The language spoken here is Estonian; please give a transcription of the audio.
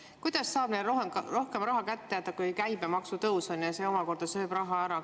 Kuidas saab neile rohkem raha kätte jääda, kui on käibemaksu tõus, mis omakorda sööb raha ära?